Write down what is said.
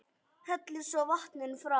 Hellið svo vatninu frá.